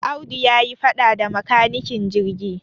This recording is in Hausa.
Audu ya yi faɗa da makanikin jirgi.